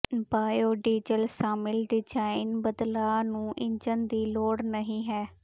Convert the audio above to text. biodiesel ਸ਼ਾਮਿਲ design ਬਦਲਾਅ ਨੂੰ ਇੰਜਣ ਦੀ ਲੋੜ ਨਹੀ ਹੈ